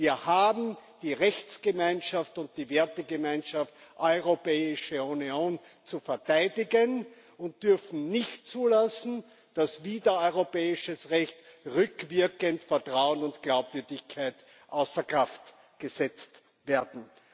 Wir haben die Rechtsgemeinschaft und die Wertegemeinschaft Europäische Union zu verteidigen und dürfen nicht zulassen, dass wider europäisches Recht rückwirkend Vertrauen und Glaubwürdigkeit außer Kraft gesetzt werden.